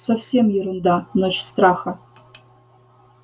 совсем ерунда ночь страха